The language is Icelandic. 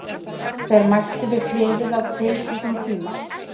Þeir mættu við hliðið á tilskildum tíma.